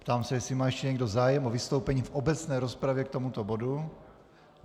Ptám se, jestli má ještě někdo zájem o vystoupení v obecné rozpravě k tomuto bodu.